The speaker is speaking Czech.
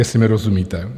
Jestli mi rozumíte.